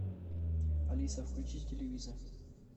алиса включи телевизор